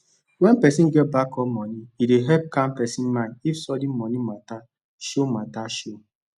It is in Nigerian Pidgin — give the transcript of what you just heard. when person get backup money e dey help calm person mind if sudden money matter show matter show